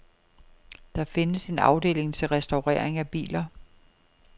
Der findes en afdeling til restaurering af biler.